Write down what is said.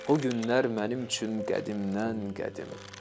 O günlər mənim üçün qədimdən qədim.